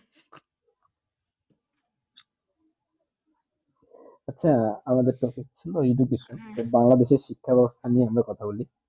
আচ্ছা আমাদের topic ছিল educational বাংলাদেশে শিক্ষা বেবস্তা নিয়ে আমরা কথা বলি